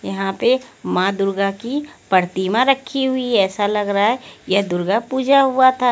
यहां पे माँ दुर्गा की प्रतिमा रखी हुई है ऐसा लग रहा है यह दुर्गा पूजा हुआ था।